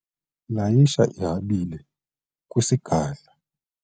layisha ihabile kwisigadla